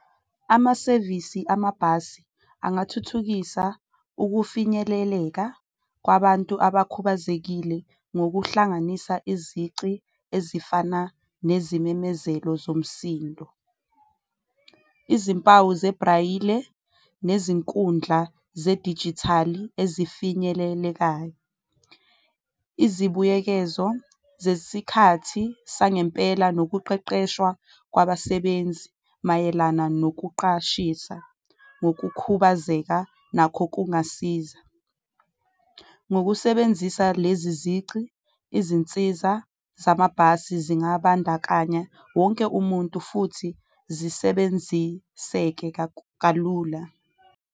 Amasevisi amabhasi angathuthukisa ukufinyeleleka kwabantu abakhubazekile ngokuhlanganisa izici ezifana nezimemezelo zomsindo, izimpawu zebhrayile, nezinkundla zedijithali ezifinyelelekayo. Izibuyekezo zesikhathi sangempela nokuqeqeshwa kwabasebenzi mayelana nokuqashisa ngokukhubazeka nakho kungasiza, ngokusebenzisa lezi zici izinsiza zamabhasi zingabandakanya wonke umuntu futhi zisebenziseke kalula.